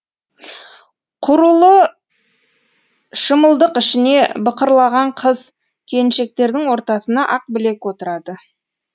құрулы шымылдық ішіне бықырлаған қыз келіншектердің ортасына ақбілек отырады